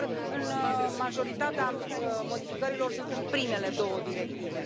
Sigur, majoritatea modificărilor sunt în primele două directive.